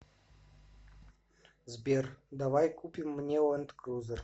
сбер давай купим мне ланд крузер